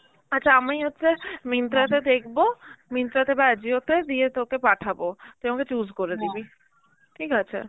আচ্ছা আমি হচ্ছে Myntra তে দেখব overlap Myntra তে বা Ajio তে দিয়ে তোকে পাঠাবো তুই আমাকে choose করে overlap দিবি, ঠিক আছে?